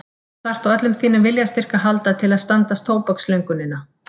Þú þarft á öllum þínum viljastyrk að halda til að standast tóbakslöngunina.